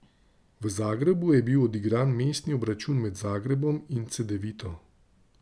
V Zagrebu je bil odigran mestni obračun med Zagrebom in Cedevito.